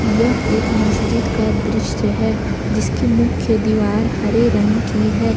यह एक मस्जिद का दृश्य है जिसकी मुख्य दीवार हरे रंग की है।